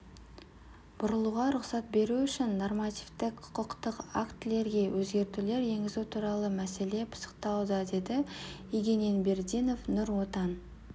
бұрылуға рұқсат беру үшін нормативтік-құқықтық актілерге өзгертулер енгізу туралы мәселе пысықталуда деді егененбердинов нұр отан